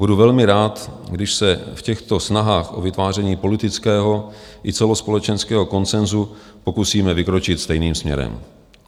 Budu velmi rád, když se v těchto snahách o vytváření politického i celospolečenského konsenzu pokusíme vykročit stejným směrem.